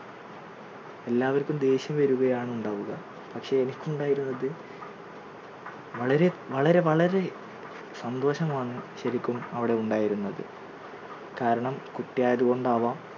എല്ലാവർക്കും ദേഷ്യം വരികയാണ് ഉണ്ടാവുക പക്ഷേ എനിക്ക് ഉണ്ടായിരുന്നത് വളരെ വളരെ വളരെ സന്തോഷമാണ് ശരിക്കും അവിടെ ഉണ്ടായിരുന്നത്. കാരണം കുട്ടിയായതുകൊണ്ടാവാം